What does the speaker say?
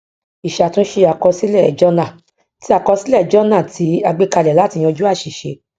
ìṣàtúnṣe àkọsílẹ jọnà tí àkọsílẹ jọnà tí a gbékalẹ láti yanjú àṣìṣe